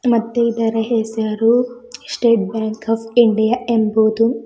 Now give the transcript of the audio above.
ಮತ್ತೆ ಇದರ ಹೆಸರು ಸ್ಟೇಟ್ ಬ್ಯಾಂಕ್ ಆಫ್ ಇಂಡಿಯಾ ಎಂಬುದು--